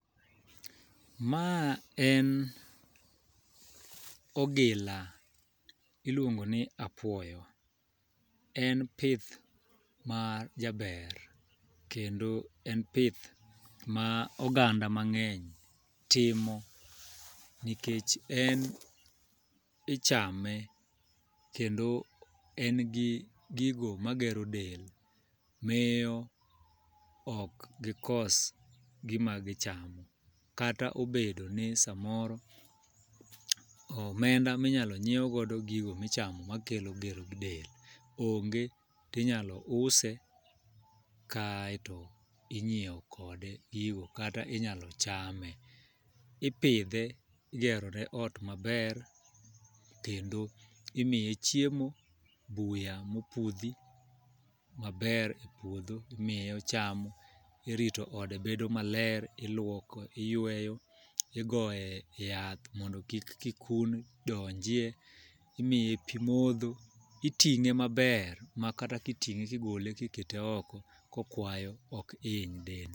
Ma en ogila, iluongo ni apuoyo. En pith ma jaber, kendo en pith ma oganda mangény timo nikech en ichame, kendo en gi gigo magero del. Miyo ok gikos gima gichamo, kata obedo ni samoro, omenda minyalo nyiew godo gigo ma ichamo ma kelo gero del onge. To inyalo use, ka ae to inyiewo kode gigo, kata inyalo chame. Ipidhe, igero ne ot maber, kendo imiye chiemo, buya mopudhi maber e puodho imiye ochamo. Irito ode bedo maler, iluoko, iyweyo, igoye yath mondo kik kikun donjie. Imiye pi modho, itingé maber, ma kata kitingé kigole kikete oko kokwayo ok hiny dende.